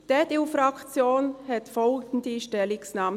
Die EDU-Fraktion hat folgende Stellungnahme: